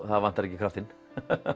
það vantar ekki kraftinn